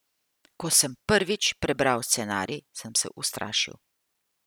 Ko sem prvič prebral scenarij, sem se ustrašil.